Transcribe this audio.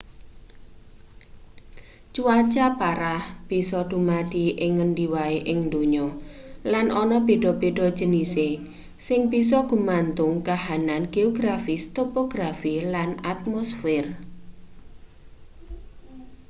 cuaca parah bisa dumadi ing ngendi wae ing donya lan ana beda-beda jenise sing bisa gumantung kahanan geografis topografi lan atmosfer